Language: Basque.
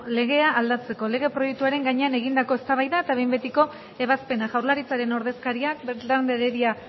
legea aldatzeko lege proiektuaren gainean egindakoa eztabaida eta behin betiko ebazpena jaurlaritzaren ordezkariak beltrán de heredia